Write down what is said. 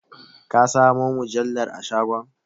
Ka samo mujallar a shagon?